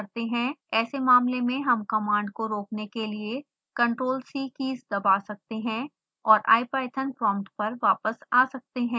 ऐसे मामले में हम कमांड को रोकने के लिए ctrl+c कीज दबा सकते हैं और ipython prompt पर वापस आ सकते हैं